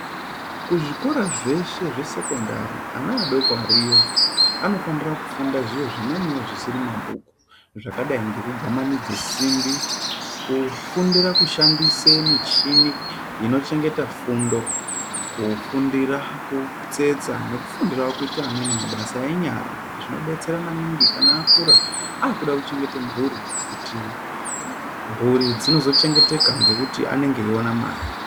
Kuzvikora zveshe zvesekondari, ana adoko ariyo anofanira kufunda zviro zvimweniwo zvisiri mabhuku zvakadai ngekugwamananidza simbi, kufundira kushandise michini inochengeta fundo, kufundira kutsetsa nekufundirawo kuita amweni mabasa enyara, zvinobetsera maningi kana akura akuchengeta mhuri kuti mburi dzinenge dzeizochengeteka nekuti anenge eiona mare.